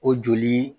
O joli